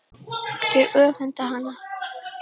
Ég öfunda hana.